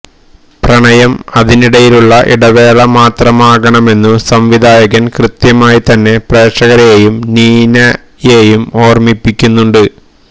പ്രണയം അതിനിടയിലുള്ള ഇടവേള മാത്രമാകണമെന്നു സംവിധായകൻ കൃത്യമായി തന്നെ പ്രേക്ഷകരെയും നീനയെയും ഓർമിപ്പിക്കുന്നുണ്ട്